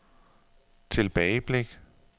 tilbageblik